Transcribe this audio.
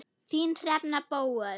Þín, Hrefna Bóel.